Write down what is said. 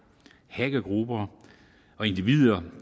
hackergrupper og individer